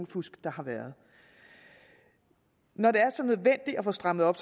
fusk der har været når det er så nødvendigt at få strammet op